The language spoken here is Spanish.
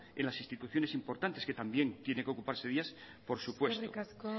en las instituciones importantes que también tiene que ocuparse de ellas por supuesto eskerrik asko